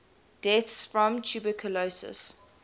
deaths from tuberculosis